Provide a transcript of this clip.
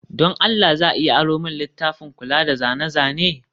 don Allah za a iya aro min littafin kula da zane-zane?